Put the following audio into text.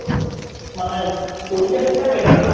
মানে ওই time টাই Better না।